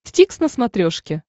дтикс на смотрешке